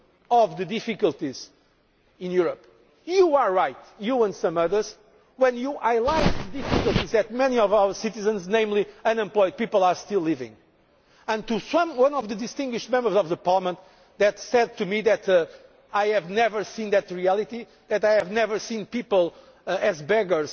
Now, what happens in fact is that we are aware of the difficulties in Europe. You are right, you and some others, when you outline difficulties that many of our citizens, particularly unemployed people, are still experiencing. And to one of the distinguished Members of Parliament who said to me that I have never seen